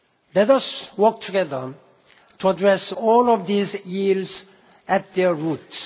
Let us work together to address all of these ills at their roots.